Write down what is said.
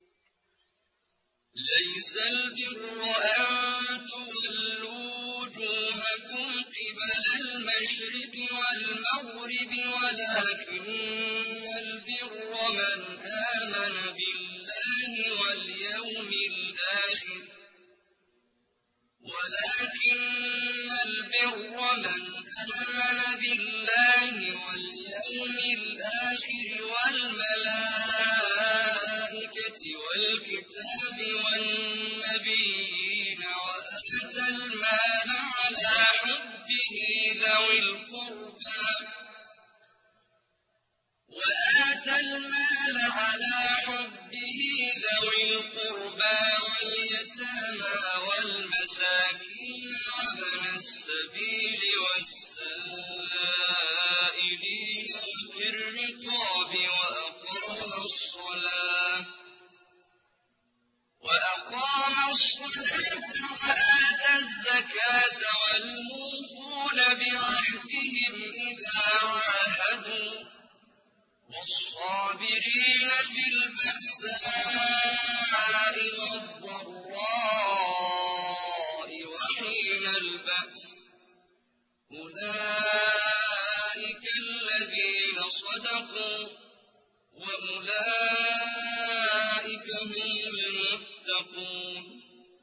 ۞ لَّيْسَ الْبِرَّ أَن تُوَلُّوا وُجُوهَكُمْ قِبَلَ الْمَشْرِقِ وَالْمَغْرِبِ وَلَٰكِنَّ الْبِرَّ مَنْ آمَنَ بِاللَّهِ وَالْيَوْمِ الْآخِرِ وَالْمَلَائِكَةِ وَالْكِتَابِ وَالنَّبِيِّينَ وَآتَى الْمَالَ عَلَىٰ حُبِّهِ ذَوِي الْقُرْبَىٰ وَالْيَتَامَىٰ وَالْمَسَاكِينَ وَابْنَ السَّبِيلِ وَالسَّائِلِينَ وَفِي الرِّقَابِ وَأَقَامَ الصَّلَاةَ وَآتَى الزَّكَاةَ وَالْمُوفُونَ بِعَهْدِهِمْ إِذَا عَاهَدُوا ۖ وَالصَّابِرِينَ فِي الْبَأْسَاءِ وَالضَّرَّاءِ وَحِينَ الْبَأْسِ ۗ أُولَٰئِكَ الَّذِينَ صَدَقُوا ۖ وَأُولَٰئِكَ هُمُ الْمُتَّقُونَ